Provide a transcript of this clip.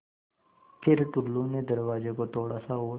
फ़िर टुल्लु ने दरवाज़े को थोड़ा सा और